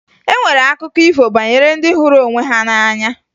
E nwere akụkọ ifo banyere ndị hụrụ onwe ha n'anya